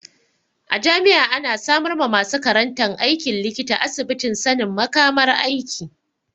A jami'a ana samar ma masu karantan aikin likita asibitin sanin makamar aiki.